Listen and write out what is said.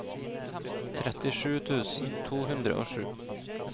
trettisju tusen to hundre og sju